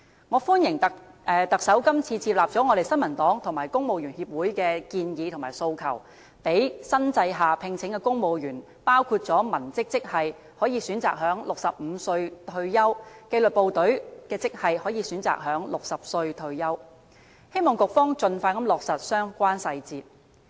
我歡迎特首今次接納了我們新民黨和政府人員協會的建議和訴求，讓新制下聘請的公務員，包括文職職系可以選擇在65歲退休，紀律部隊的職系可以選擇在60歲退休，希望局方盡快落實相關細節。